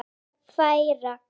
Lét hann færa